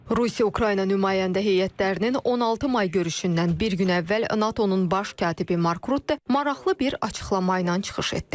Rusiya-Ukrayna nümayəndə heyətlərinin 16 may görüşündən bir gün əvvəl NATO-nun baş katibi Mark Rutte maraqlı bir açıqlama ilə çıxış etdi.